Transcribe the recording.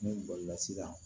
Ne bɔli la sisan